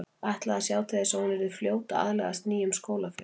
Ætlaði að sjá til þess að hún yrði fljót að aðlagast nýjum skólafélögum.